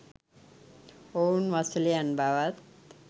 ඔවුන් වසලයන් බවත්